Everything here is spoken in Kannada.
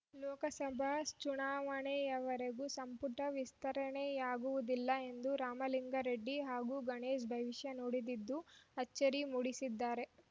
ಲೋಕಸಭಾ ಚುನಾವಣೆವರೆಗೂ ಸಂಪುಟ ವಿಸ್ತರಣೆಯಾಗುವುದಿಲ್ಲ ಎಂದು ರಾಮಲಿಂಗಾರೆಡ್ಡಿ ಹಾಗೂ ಗಣೇಶ್‌ ಭವಿಷ್ಯ ನುಡಿದಿದ್ದು ಅಚ್ಚರಿ ಮೂಡಿಸಿದ್ದಾರೆ